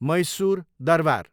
Mysore Darbar